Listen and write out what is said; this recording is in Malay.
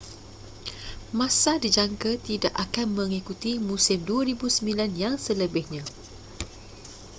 massa dijangka tidak akan mengikuti musim 2009 yang selebihnya